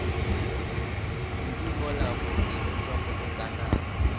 kudu mola bookelong bja kgobokanang